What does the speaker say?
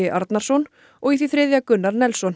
Arnarsson og því þriðja Gunnar